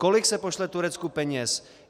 Kolik se pošle Turecku peněz?